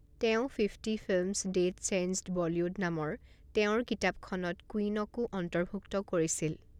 তেওঁ ''fifty films that changed Bollywood'' নামৰ তেওঁৰ কিতাপখনত কুইনকও অন্তৰ্ভুক্ত কৰিছিল।